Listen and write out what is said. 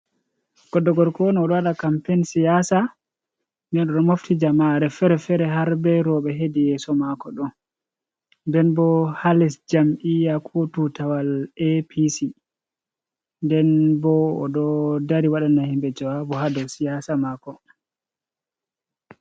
Goɗɗo gorko un o ɗo wada kampein siyasa. Nden o ɗo mafti jamaare fere-fere har ɓe roɓe hedi yeso mako do. Nden bo ha les jam'i'yya, ko tutawal APC. Nden bo o ɗo dari waɗana himɓe jawabu hado siyasa mako.